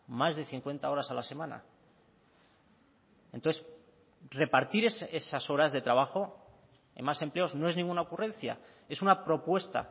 más de cincuenta horas a la semana entonces repartir esas horas de trabajo en más empleos no es ninguna ocurrencia es una propuesta